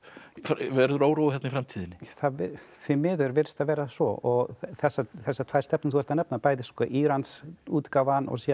verður órói þarna í framtíðinni því miður virðist það vera svo þessar þessar tvær stefnur sem þú ert að nefna bæði Írans útgáfan og síðan